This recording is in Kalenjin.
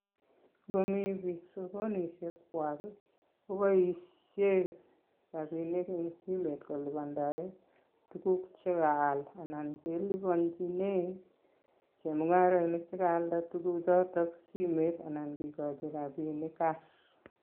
Ngomi biik sokonisiekchwak I koboishien rabinik en simet kolipan tuguuk che kaal anan keliponyinen chemungarainik chelaalda tuguchoton simet anan kikochi rabinik cash